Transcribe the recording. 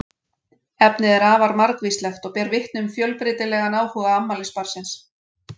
Efnið er afar margvíslegt og ber vitni um fjölbreytilegan áhuga afmælisbarnsins.